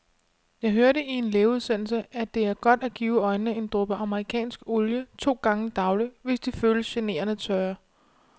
Jeg hørte i en lægeudsendelse, at det er godt at give øjnene en dråbe amerikansk olie to gange daglig, hvis de føles generende tørre.